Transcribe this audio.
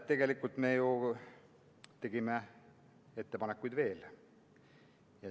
Tegelikult me ju tegime veel ettepanekuid.